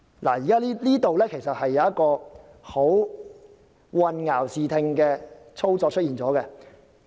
這裏其實出現一個混淆視聽的操作。